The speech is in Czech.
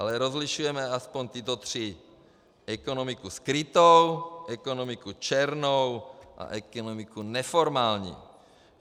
Ale rozlišujeme aspoň tyto tři - ekonomiku skrytou, ekonomiku černou a ekonomiku neformální.